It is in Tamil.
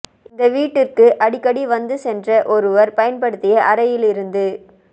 இந்த வீட்டிற்கு அடிக்கடி வந்து சென்ற ஒருவர் பயன்படுத்திய அறையில் இருந்து